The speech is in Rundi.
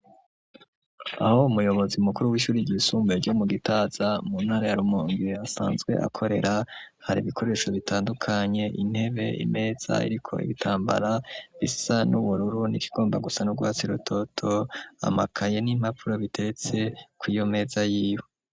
Aho umuyobozi mukuru w'ishuri ryisumbuye ryo mu gitaza mu ntara yarumonge asanzwe akorera hari ibikoresho bitandukanye intebe imeza, ariko ibitambara bisa n'ubururu n'ikigomba gusa n'ugwatsi rutoto amakaye n'impapuro biteretse ko iyo meza yiwe.